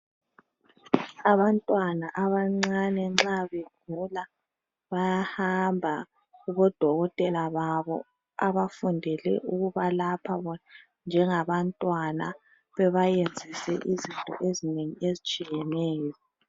Abantwana abancane nxa begula bayahamba kubodokotela babo abafundele ukubalapha bona njengabantwana, babayenzise izinto ezinengi ezitshiyeneyo.